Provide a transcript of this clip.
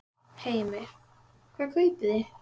Heimir: Hvað kaupið þið?